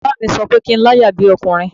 Baba mi sọ pé kí n láyà bí ọkùnrin